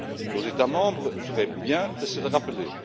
Les États membres feraient bien de se le rappeler.